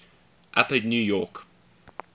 upper new york